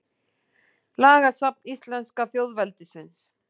Lagasafn íslenska þjóðveldisins.